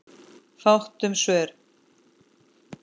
Fátt um svör.